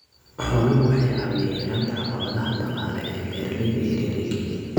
Xooluhu waxay caawiyaan yaraynta caqabadaha dhaqaale ee beeralayda yar yar ee Kenya.